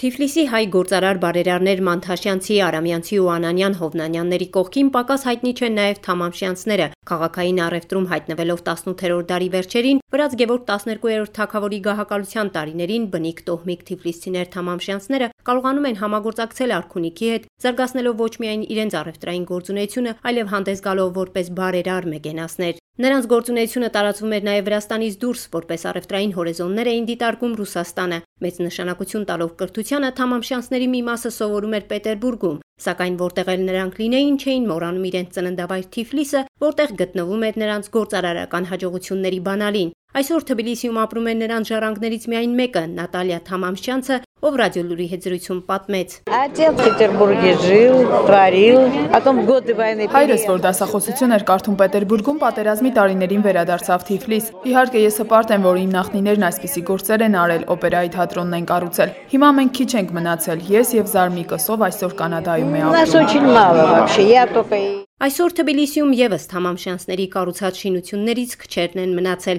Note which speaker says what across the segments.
Speaker 1: Թիֆլիսի հայ գործարար-բարերարներ Մանթաշյանցի, Արամյանցի ու Անանյան Հովնանյանների կողքին պակաս հայտնի չեն նաև Թամամշյանցները։ Քաղաքային առևտրում հայտնվելով 18-րդ դարի վերջերին՝ վրաց Գևորգ 12-րդ թագավորի գահակալության տարիներին, բնիկ տոհմիկ թիֆլիսցիներ Թամամշյանցները կարողանում են համագործակցել արքունիքի հետ՝ զարգացնելով ոչ միայն իրենց առևտրային գործունեությունը, այլև հանդես գալով որպես բարերար-մեկենասներ։ Նրանց գործունեությունը տարածվում էր նաև Վրաստանից դուրս․ որպես առևտրային հորիզոններ էին դիտարկում Ռուսաստանը։ Մեծ նշանակություն տալով կրթությանը Թամամշյանցների մի մասը սովորում էր Պետերբուրգում։ Սակայն, որտեղ էլ նրանք լինեին, չէին մոռանում իրենց ծննդավայր Թիֆլիսը, որտեղ գտնվում էր նրանց գործարարական հաջողությունների բանալին։ Այսօր Թբիլիսիում ապրում է նրանց ժառանգներից միայն մեկը՝ Նատալիա Թամամշևան, ով «Ռադիոլուր»-ի հետ զրույցում
Speaker 2: պատմեց:․ «Հայրս, որ դասախոսություն էր կարդում Պետերբուրգում, պատերազմի (Հայրենական նկատի ունի) տարիներին վերադարձավ Թիֆլիս։ Իհարկե, ես հպարտ եմ, որ իմ նախնիներն այդպիսի գործեր են արել, օպերայի թատրոնն են կառուցել։ Հիմա մենք քիչ
Speaker 1: ենք՝ մնացել ենք ես և զարմիկս, ով այսօր Կանադայում է ապրում»։ Այսօր Թբիլիսիում ևս Թամամշյացների կառուցած շինություններից քչեն են մնացել։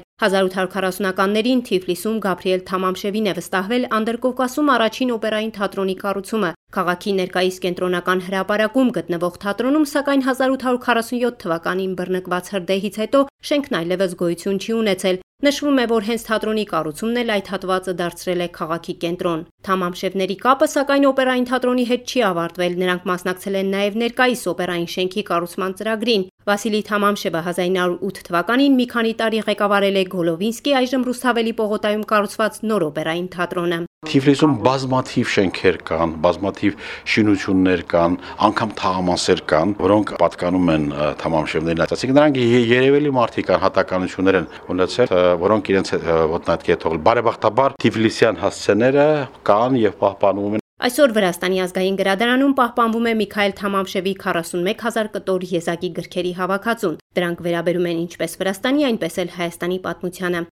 Speaker 1: ֆլիսում Գաբրիել Թամամշևին է վստահվել Անդրկովկասում առաջին օպերային թատրոնի կառուցումը։ Քաղաքի ներկայիս կենտրոնական հրապարակում գտնվող թատրոնում, սակայն 1847թ․ բռնկված հրդեհից հետո շենքն այլևս գոյություն չի ունեցել։ Նշվում է, որ հենց թատրոնի կառուցումն էլ այդ հատվածը դարձրել է քաղաքի կենտրոն։ Թամամշևների կապը, սակայն, օպերային թատրոնի հետ չի ավարտվել․ նրանք մասնակցել են նաև ներկայիս օպերային շենքի կառուցման ծրագրին։ Վասիլի Թամամշևը 1908 թ․ մի քանի տարի ղեկավարել է Գոլովինսկի՝ այժմ Ռուսթավելի, պողոտայում կառուցված նոր օպերային թատրոնը։
Speaker 3: «Բազմաթիվ շենքեր ու շինություններ կան, անգամ թաղամասեր, որոնք պատկանել են Թամամշյանցներին։ Այսինքն նրանք երևելի անհատականություններ են եղել, որ իրենց հետքը թողել են Թիֆլիսում»,-Ռադիոլուրի հետ զրույցում ասաց գրքի հեղինակ Սերգո Երիցյանը։
Speaker 1: Այսօր Վրաստանի Ազգային գրադարանում պահպանվում է Միքայել Թամամշևի 41 հազար կտոր եզակի գրքերի հավաքածուն։ Դրանք վերաբերում են ինչպես Վրաստանի, այնպես էլ Հայաստանի պատմությանը։